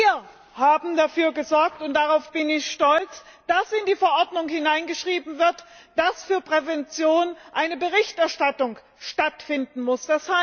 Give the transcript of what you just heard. Wir haben dafür gesorgt und darauf bin ich stolz dass in die Verordnung hineingeschrieben wird, dass für Prävention eine Berichterstattung stattfinden muss.